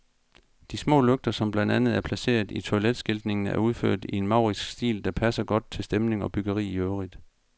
De små lygter, som blandt andet er placeret på toiletskiltningen, er udført i en maurisk stil, der passer godt til stemning og byggeri i øvrigt.